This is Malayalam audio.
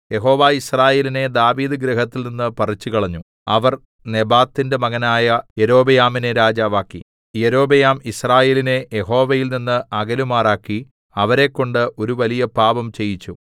യഹോവ യിസ്രായേലിനെ ദാവീദ് ഗൃഹത്തിൽ നിന്ന് പറിച്ചുകളഞ്ഞു അവർ നെബാത്തിന്റെ മകനായ യൊരോബെയാമിനെ രാജാവാക്കി യൊരോബെയാം യിസ്രായേലിനെ യഹോവയിൽനിന്ന് അകലുമാറാക്കി അവരെക്കൊണ്ട് ഒരു വലിയ പാപം ചെയ്യിച്ചു